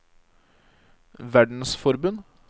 verdensforbund